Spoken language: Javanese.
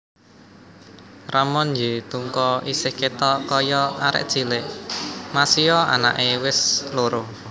Ramon Y Tungka isih ketok koyok arek cilik masio anake wes loro